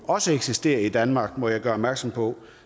også eksisterer i danmark må jeg gøre opmærksom på